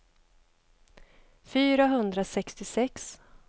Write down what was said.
fyrahundrasextiosex